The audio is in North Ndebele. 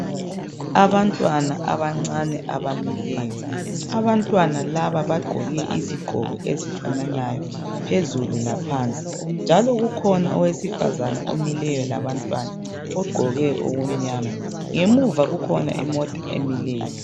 Abantwana abancane abamileyo abantwana laba bagqoke izigqoko ezifananayo phezulu laphansi njalo kukhona owesifazana omileyo labantwana ogqoke okumnyama ngemuva kukhona imota emileyo.